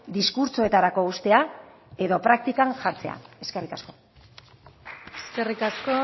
diskurtsoetarako uztea edo praktikan jartzea eskerrik asko eskerrik asko